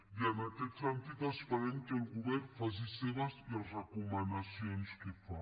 i en aquest sentit esperem que el govern faci seves les recomanacions que fa